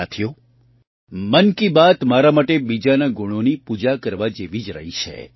સાથીઓ મન કી બાત મારા માટે બીજાના ગુણોની પૂજા કરવા જેવી જ રહી છે